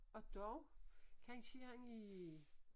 Og dog kansje er han i